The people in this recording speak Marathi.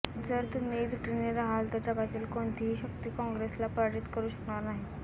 जर तुम्ही एकजूटीने राहाल तर जगातील कोणतीही शक्ती काँग्रेसला पराजित करू शकणार नाही